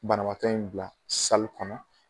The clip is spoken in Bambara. Banabaatɔ in bila kɔnɔ.